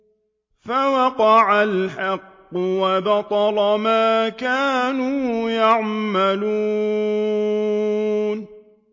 فَوَقَعَ الْحَقُّ وَبَطَلَ مَا كَانُوا يَعْمَلُونَ